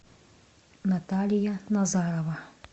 наталья назарова